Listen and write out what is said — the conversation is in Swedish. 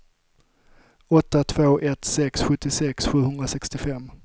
åtta två ett sex sjuttiosex sjuhundrasextiofem